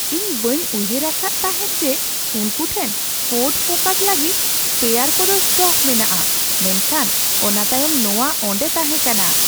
ᱤᱧ ᱵᱟᱹᱧ ᱩᱭᱦᱟᱹᱨ ᱟᱠᱟᱫ ᱛᱟᱦᱮᱸᱜ ᱡᱮ ᱩᱱᱠᱩ ᱴᱷᱮᱱ ᱯᱷᱳᱨᱰ ᱯᱷᱳᱠᱟᱥ ᱞᱟᱹᱜᱤᱫ ᱥᱯᱮᱭᱟᱨ ᱠᱚᱫᱚ ᱥᱴᱚᱠ ᱢᱮᱱᱟᱜᱼᱟ ᱢᱮᱱᱠᱷᱟᱱ ᱚᱱᱟ ᱛᱟᱭᱚᱢ ᱱᱚᱣᱟ ᱚᱸᱰᱮ ᱛᱟᱦᱮᱠᱟᱱᱟ ᱾